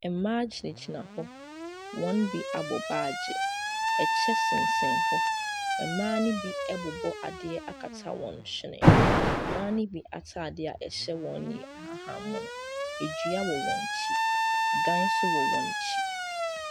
Mmaa gyinagyina hɔ, wɔn bi abɔ baage, kyɛ sensɛn hɔ, mmaa ne bi abobɔ adeɛ akata wɔn hwene, mmaa ne bi ataadeɛ a ɛhyɛ wɔn no yɛ ahahanmono, dua wɔ wɔn akyi, dan nso wɔ wɔn akyi.